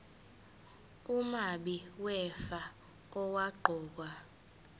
umabi wefa owaqokwa